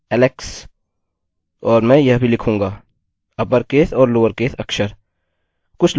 और मैं यह भी लिखूंगा– अपरकेस और लोअरकेस अक्षर